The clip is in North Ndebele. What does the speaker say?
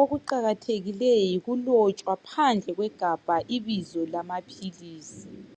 Okuqakathekileyo yikulotshwa phandle kwegabha ibizo lamaphilisi.